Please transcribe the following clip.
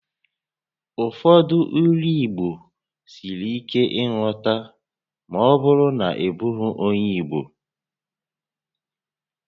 Ụfọdụ Ílú Igbo siri ike nghọta ma ọ bụrụ na ị bụghị onyé Igbo